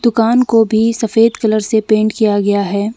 दुकान को भी सफेद कलर से पेंट किया गया है।